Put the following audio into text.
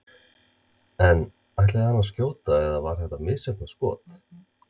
En ætlaði hann að skjóta eða var þetta misheppnað skot?